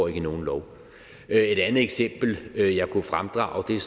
i nogen lov et andet eksempel jeg jeg kunne fremdrage er